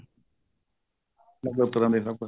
ਅਲੱਗ ਅਲੱਗ ਤਰ੍ਹਾਂ ਦੇ ਸਭ ਪਾਸੇ